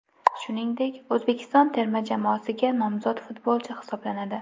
Shuningdek, O‘zbekiston terma jamoasiga nomzod futbolchi hisoblanadi.